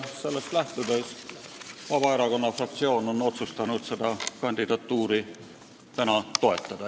Sellest lähtudes on Vabaerakonna fraktsioon otsustanud seda kandidatuuri täna toetada.